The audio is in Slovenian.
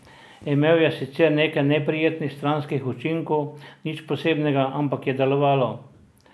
Imel je sicer nekaj neprijetnih stranskih učinkov, nič posebnega, ampak je delovalo!